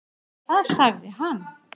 Þar sagði hann.